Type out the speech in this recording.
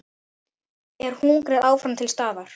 Er hungrið áfram til staðar?